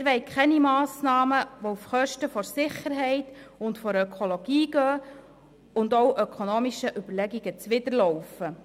Wir wollen keine Massnahmen, die auf Kosten der Sicherheit und der Ökologie gehen und auch ökonomischen Überlegungen zuwiderlaufen.